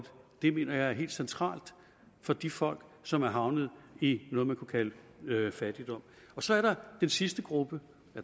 det mener jeg er helt centralt for de folk som er havnet i noget man kunne kalde fattigdom så er der den sidste gruppe